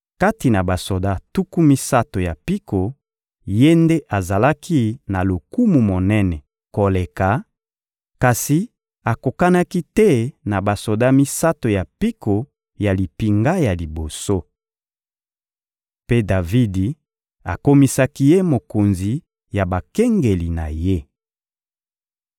Kati na basoda tuku misato ya mpiko, ye nde azalaki na lokumu monene koleka, kasi akokanaki te na basoda misato ya mpiko ya limpinga ya liboso. Mpe Davidi akomisaki ye mokonzi ya bakengeli na ye.